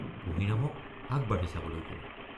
কুঁহিৰামক আগবাঢ়ি চাবলৈ কালোঁ।